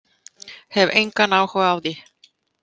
Hef engan áhuga á því.